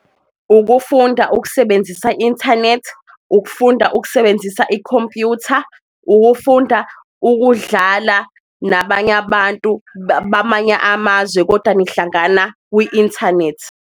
Ukufunda ukusebenzisa inthanethi, ukufunda ukusebenzisa ikhompuyutha, ukufunda ukudlala nabanye abantu bamanye amazwe kodwa nihlangana kwi-inthanethi.